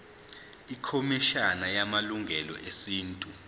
ikhomishana yamalungelo esintu